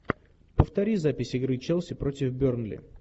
повтори запись игры челси против бернли